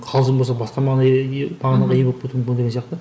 қалжың болса басқа мағынаға мағынаға ие болып кетуі мүмкін деген сияқты